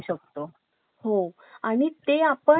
आणि ते आपण पुरावे म्हणून न्यायालयात